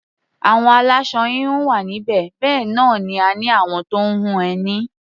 Àwọn aláṣọ-híhun wà níbí, bẹ́ẹ̀ náà ni a ní àwọn tó ń hun ẹní.